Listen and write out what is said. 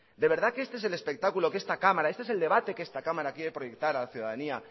de verdad que este es el espectáculo este es el debate que esta cámara quiere proyectar a la ciudadanía